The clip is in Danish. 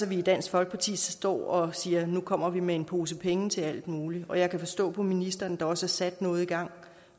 vi i dansk folkeparti står og siger nu kommer vi med en pose penge til alt muligt og jeg kan forstå på ministeren at der også er sat noget i gang